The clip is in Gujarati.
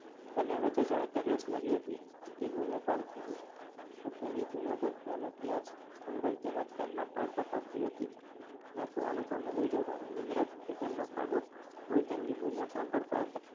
બંને વચ્ચે કે જાણે રેસ લાગી હતી તે બૂમો પાડતી હતી પણ તેની બૂમો તો ત્યાં ને ત્યાં જ ગુમરાહી તેના જ કાનમાં પડઘા પાડતી હતી ના તો અનુપમને લઈ જતા પણ તેમનો પાડો હોય તેમની બૂમો સાંભળતા હતા.